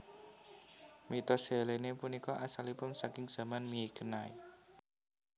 Mitos Helene punika asalipun saking Zaman Mykenai